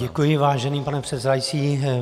Děkuji, vážený pane předsedající.